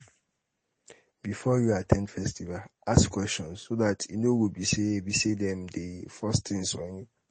before you at ten d festival ask questions so dat e no go be sey be sey dem dey force things on you